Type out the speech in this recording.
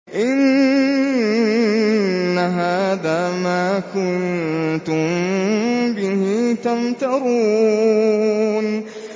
إِنَّ هَٰذَا مَا كُنتُم بِهِ تَمْتَرُونَ